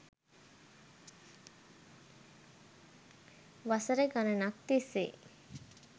වසර ගණනක් තිස්සේ